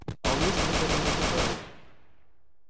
а у несторов этого не хватает